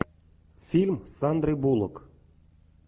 фильм с сандрой булок